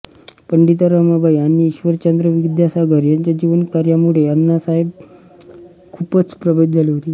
पंडिता रमाबाई आणि ईश्वरचंद्र विद्यासागर यांच्या जीवनकार्यांमुळे अण्णासाहेब खूपच प्रभावित झाले होते